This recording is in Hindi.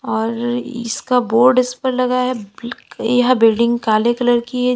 और ये इसका बोर्ड इस पर लगा है बि क यह बिल्डिंग काले कलर की है।